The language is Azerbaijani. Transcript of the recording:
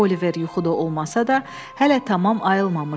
Oliver yuxuda olmasa da, hələ tamam ayılmamışdı.